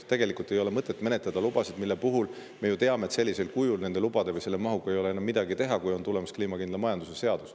Tegelikult ei ole mõtet menetleda lubasid, mille puhul me ju teame, et sellises mahus ei ole lubadega enam midagi teha, sest on tulemas kliimakindla majanduse seadus.